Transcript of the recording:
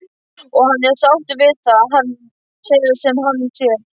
Og hann er sáttur við það sem hann sér.